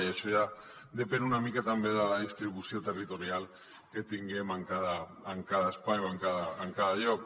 i això ja depèn una mica també de la distribució territorial que tinguem en cada en cada espai o en cada lloc